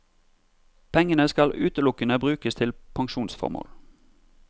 Pengene skal utelukkende brukes til pensjonsformål.